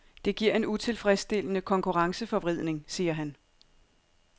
Det giver en utilfredsstillende konkurrenceforvridning, siger han.